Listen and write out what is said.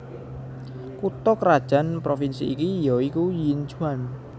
Kutha krajan Provinsi iki ya iku Yinchuan